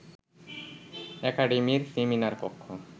একাডেমীর seminar কক্ষ